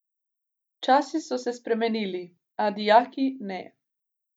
Časi so se spremenili, a dijaki ne.